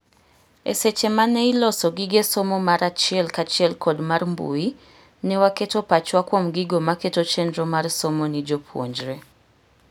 Eseche mane iloso gige somo mar achiel kachiel kod mar mbui, ne waketo pachwa kuom gigo maketo chenro mar somo ni jopuonjre.